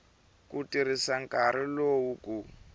ku tirhisa nkarhi lowu ku